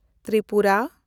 Tripura